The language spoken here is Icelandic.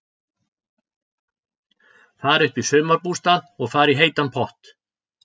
Fara upp í sumarbústað og fara í heitan pott.